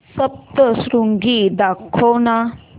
सप्तशृंगी दाखव ना